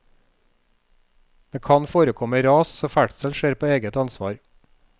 Det kan forekomme ras, så ferdsel skjer på eget ansvar.